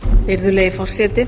virðulegi forseti